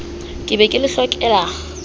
ke be ke le hlokela